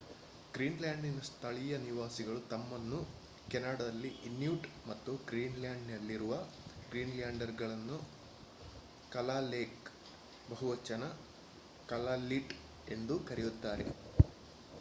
ಗ್ರೀನ್‌ಲ್ಯಾಂಡ್‌ನ ಸ್ಥಳೀಯ ನಿವಾಸಿಗಳು ತಮ್ಮನ್ನು ಕೆನಡಾದಲ್ಲಿ ಇನ್ಯೂಟ್ ಮತ್ತು ಗ್ರೀನ್‌ಲ್ಯಾಂಡ್‌ನಲ್ಲಿರುವ ಗ್ರೀನ್‌ಲ್ಯಾಂಡರ್‌ನ್ನು ಕಲಾಲೆಕ್ ಬಹುವಚನ ಕಲಾಲ್ಲಿಟ್ ಎಂದು ಕರೆಯುತ್ತಾರೆ